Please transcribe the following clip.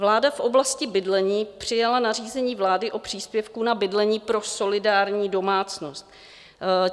Vláda v oblasti bydlení přijala nařízení vlády o příspěvku na bydlení pro solidární domácnost.